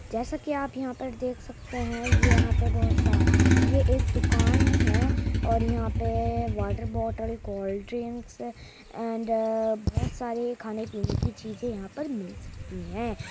जैसा के आप यहाँ देख सकते है ये यहाँ पे बोहोत सा ये एक दुकान है और यहाँ पे वाटर बोतल कोल्ड ड्रिंक्स एण्ड बोहोत सारी खाने पीने की चीज़ें यहाँ पर मिल सकती हैं।